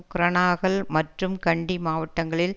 குரணாகல் மற்றும் கண்டி மாவட்டங்களில்